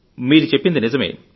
మీరు చెప్పేది నిజమే